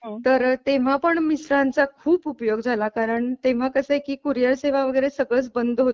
तर तेव्हा पण मिस्टरांचा खूप उपयोग झाला कारण तेव्हा कसे की कुरिअर सेवा वगैरे सगळं बंद होत.